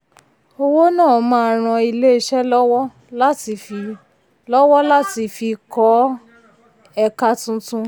owó náà máa ràn ilé-iṣẹ́ lọ́wọ́ láti fi lọ́wọ́ láti fi kọ́ ẹ̀ka tuntun.